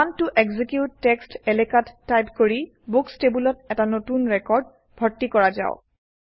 command ত execute text এলেকাত type কৰি বুকচ্ টেবুলত এটা নতুন ৰেকৰ্ড ভৰ্তি কৰা যাওক